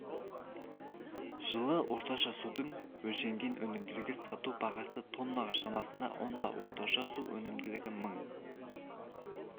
жылы орташа судың өлшенген өнімділігі сату бағасы тоннаға шамасында онда орташа су өнімділігі мың